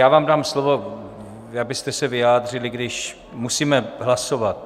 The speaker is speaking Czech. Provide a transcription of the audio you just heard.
Já vám dám slovo, abyste se vyjádřili, když musíme hlasovat.